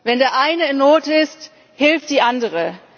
Wenn der eine in Not ist, hilft die andere.